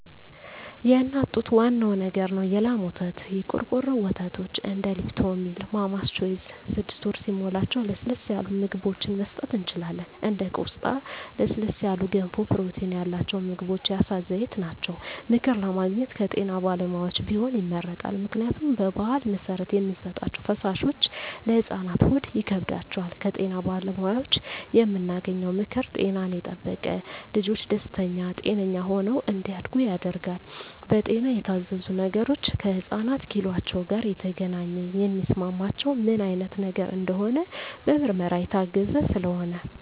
የእናት ጡት ዋናው ነገር ነው የላም ወተት , የቆርቆሮ ወተቶች እንደ ሊፕቶሚል ማማስ ቾይዥ ስድስት ወር ሲሞላቸው ለስለስ ያሉ ምግብችን መስጠት እንችላለን እንደ ቆስጣ ለስለስ ያሉ ገንፎ ፕሮቲን ያላቸው ምግቦች የአሳ ዘይት ናቸው። ምክር ለማግኘት ከጤና ባለሙያዎች ቢሆን ይመረጣል ምክንያቱም በባህል መሰረት የምንሰጣቸዉ ፈሳሾች ለህፃናት ሆድ ይከብዳቸዋል። ከጤና ባለሙያዎች የምናገኘው ምክር ጤናን የጠበቀ ልጅች ደስተኛ ጤነኛ ሆነው እንዳድጉ ያደርጋል። በጤና የታዘዙ ነገሮች ከህፃናት ኪሏቸው ጋር የተገናኘ የሚስማማቸው ምን አይነት ነገር እንደሆነ በምርመራ የታገዘ ስለሆነ